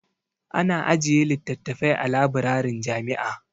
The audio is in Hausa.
Ana ajiye littattafai a labirarin jami'a.